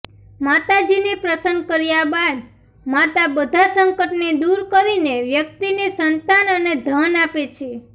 માતાજીને પ્રસન્ન કર્યા બાદ માતા બધા સંકટને દૂર કરીને વ્યક્તિને સંતાન અને ધન આપે છે